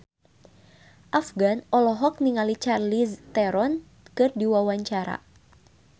Afgan olohok ningali Charlize Theron keur diwawancara